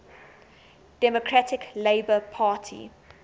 democratic labour party